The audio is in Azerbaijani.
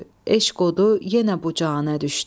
eşq odu yenə bu canə düşdü.